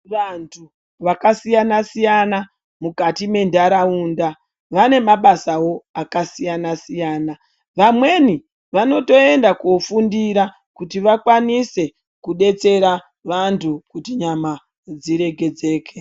Vantu vakasiyana siyana mukati mwendaraunda vene mabasa akasiyana siyana vamweni vanotoenda kunofundira kuti vakwanise kudetsera vantu kuti nyama dziregedzeke.